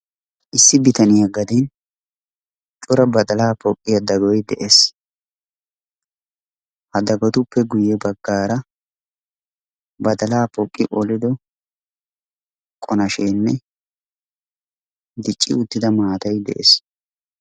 Issi bitaniya gaden cora badalaa poqiya dagoy des, ha dagotuppe guye bagaara badalaa poqi qolido qonasheene dicci uttida maatay de'ees.